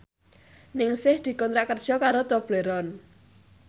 Ningsih dikontrak kerja karo Tobleron